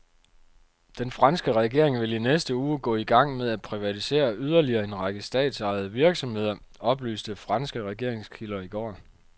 Den franske regering vil i næste uge gå i gang med at privatisere yderligere en række statsejede virksomheder, oplyste franske regeringskilder i går.